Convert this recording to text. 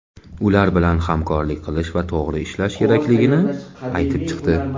ular bilan hamkorlik qilish va to‘g‘ri ishlash kerakligini aytib chiqdi.